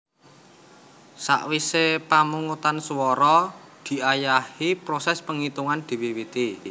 Sawisé pamungutan swara diayahi prosès pangitungan diwiwiti